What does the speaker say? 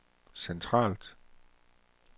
centralt